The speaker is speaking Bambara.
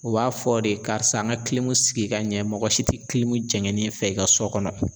U b'a fɔ de karisa an ka sigi ka ɲɛ, mɔgɔ si te jɛngɛnen fɛ i ka so kɔnɔ.